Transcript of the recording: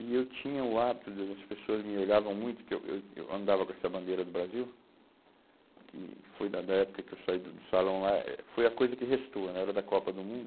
E eu tinha o hábito de, as pessoas me olhavam muito, que eu eu eu andava com essa bandeira do Brasil, que foi da da época que eu saí do salão lá, eh foi a coisa que restou né, era da Copa do Mundo